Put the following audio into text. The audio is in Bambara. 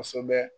Kosɛbɛ